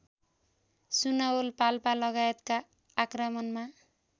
सुनवल पाल्पालगायतका आक्रमणमा